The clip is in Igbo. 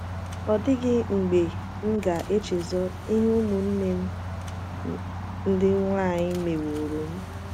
Ọ dịghị mgbe m ga - echezọ ihe ụmụnne m ndị nwanyị mewooro m.